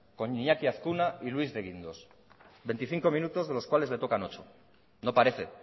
con iñaki azkuna y luis de guindos veinticinco minutos de los cuales le tocan ocho no parece